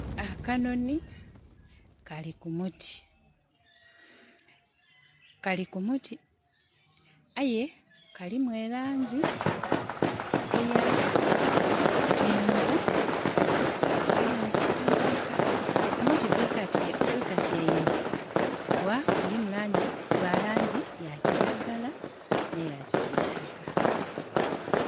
Akanoni kali ku muti. Kali ku muti aye kalimu elangi eya kyenvu neya kisitaka. Omuti kwekatyaimye gwa langi ya kiragala n'eya kisitaka